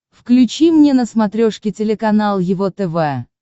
включи мне на смотрешке телеканал его тв